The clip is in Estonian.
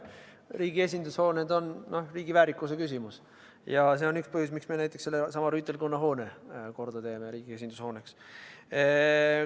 Riigi esindushooned on riigi väärikuse küsimus ja see on üks põhjus, miks me näiteks Rüütelkonna hoone korda teeme riigi esindushooneks.